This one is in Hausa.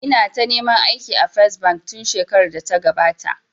Ina ta neman aiki a First bank tun shekarar da ta gabata